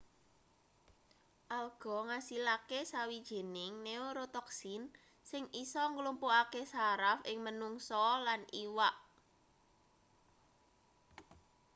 alga ngasilake sawijining neorotoxin sing isa nglumpuhake saraf ing menungsa lan iwak